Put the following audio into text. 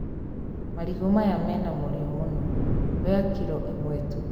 Marigũ maya mĩna mũrio mũno. Oya kiro ĩmwe tu.